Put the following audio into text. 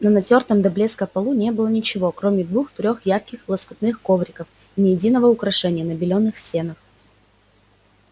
на натёртом до блеска полу не было ничего кроме двух-трёх ярких лоскутных ковриков и ни единого украшения на белёных стенах